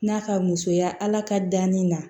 N'a ka musoya ala ka danni na